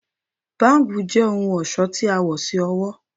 Bangles jẹ ohun ọṣọ ti a wọ si ọwọ